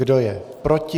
Kdo je proti?